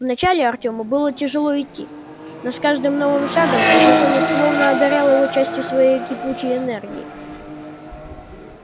вначале артему было тяжело идти но с каждым новым шагом незнакомец словно одарял его частью своей кипучей энергии